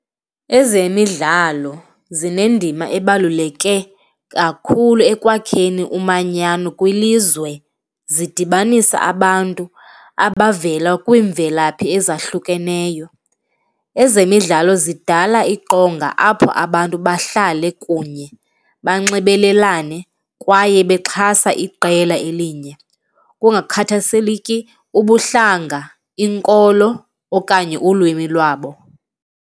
Ezemidlalo zinendima ebaluleke kakhulu ekwakheni umanyano kwilizwe, zidibanisa abantu abavela kwiimvelaphi ezahlukeneyo. Ezemidlalo zidala iqonga apho abantu bahlale kunye, banxibelelane kwaye bexhasa iqela elinye kungakhathaliseki ubuhlanga, inkolo okanye ulwimi lwabo.